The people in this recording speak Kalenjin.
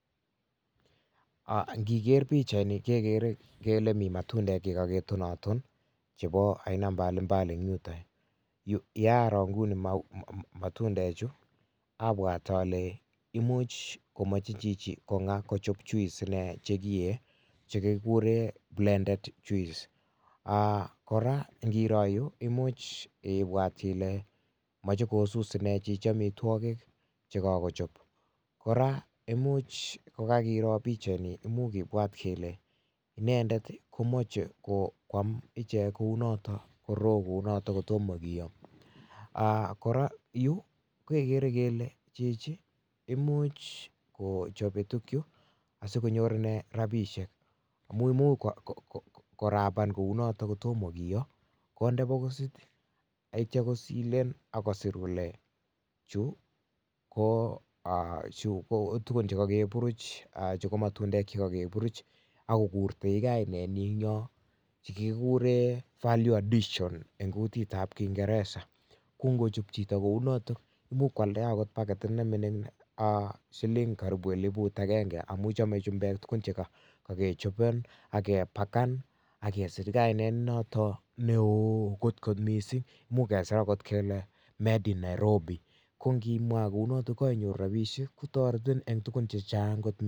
Ingegeer pichaini, kegere kele mi matundek chekakitonaton, chebo aina mbalimbali en yuton ,yea aroo inguni matundechu abwat ale Chichi komuch komoche kochob juice chekiyee, chekikuuren Blended juice kora ingiroo koimuch Ile moche Chichi kosuus ine amitwogiik che kakochob, kora ko much kokakiroo pichaini, imuch kibwat kele inendet komoche koam ichek kounotok kotomo kiyoo, kora yuuh kokigere kele much kochobe tuguchu asikonyor ine rabisiek. Amun imuch korapan kounotok kotomo kiyoo konde bokisit ak yeityoo kosilen akosir kole chu ko tuguuk che kakiburuch chebo matundek akokuren kainenyin en yon, chekikuren Value addition en kuitab kiingeresa, koingochob chito kounotok koimuch koaldaa paketit nemingiin silingisiek karibu eliput agenge amun chome chumbeek tuguk chekokichooben ak kepaken ak kesir kainet nenotok neo kot missing, much kesir kele kikiyoen Nairobi, kongimwaan kounotok kokoisich rabisiek kotoretiin en tuguk chechang kot.